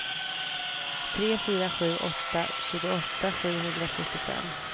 tre fyra sju åtta tjugoåtta sjuhundrafyrtiofem